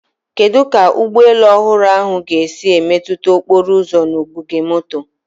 Kedu ka ụgbọ elu ọhụrụ ahụ ga-esi emetụta okporo ụzọ na ogige moto?